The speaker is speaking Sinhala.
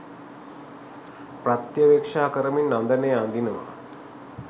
ප්‍රත්‍යවෙක්ෂා කරමින් අඳනය අඳිනවා.